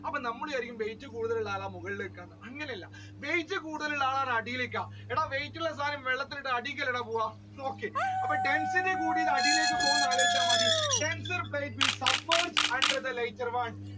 അപ്പോൾ നമ്മൾ വിചാരിക്കും കൂടുതൽ weight ഉള്ള ആളാണ് മുകളിൽ ഇരിക്കുന്നത് എന്ന് അങ്ങനെ അല്ല weight കൂടുതൽ ഉള്ള ആൾ അടിയിലേക്കാണ് weight ഉള്ള സാധനം വെള്ളത്തിൽ ഇട്ടാൽ അടിയിലേക്ക് അല്ലേടാ പോവുക നോക്കിയേ അപ്പൊ density കൂടിയത് അടിയിലേക്ക് പോവുന്നത് ആലോചിച്ച മതി denser plate will suffers under the lighter one